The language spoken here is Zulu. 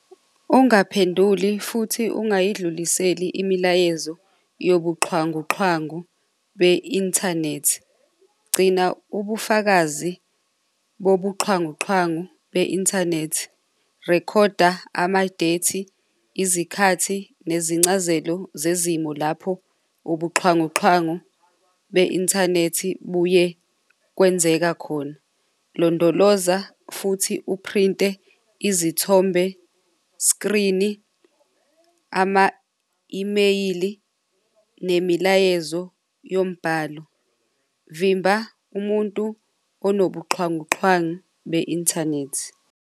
Ungaphenduli futhi ungayidluliseli imilayezo yobuxhwanguxhwangu be-inthanethi. Gcina ubufakazi bobuxhwanguxhwangu be-inthanethi. Rekhoda amadeyithi, izikhathi, nezincazelo zezimo lapho ubuxhwanguxhwangu be-inthanethi buye kwenzeka khona. Londoloza futhi uphrinte izithombe screen-i, ama-imeyili nemilayezo yombhalo. Vimba umuntu onobuxhwanguxhwangu be-inthanethi.